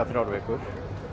þrjár vikur